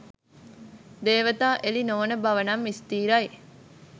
දේවතා එළි නොවන බවනම් ස්ථිරයි.